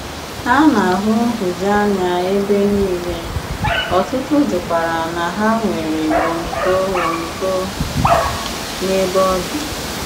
A na-ahụ nhụjuanya ebe niile, ọ̀tùtù jụkwara na hà nwere ọ̀mììkò ọ̀mììkò n'ebe ọ̀ dị.